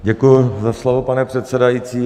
Děkuji za slovo, pane předsedající.